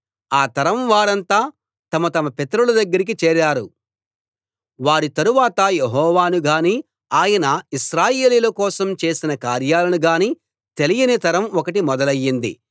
ఆ తరం వారంతా తమ తమ పితరుల దగ్గరికి చేరారు వారి తరువాత యెహోవానుగాని ఆయన ఇశ్రాయేలీయుల కోసం చేసిన కార్యాలను గాని తెలియని తరం ఒకటి మొదలయ్యింది